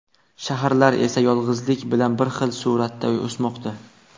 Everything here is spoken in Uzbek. Shaharlar esa yolg‘izlik bilan bir xil sur’atda o‘smoqda.